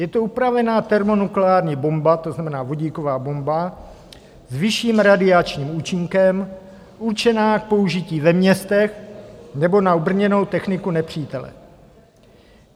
Je to upravená termonukleární bomba, to znamená vodíková bomba s vyšším radiačním účinkem určená k použití ve městech nebo na obrněnou techniku nepřítele.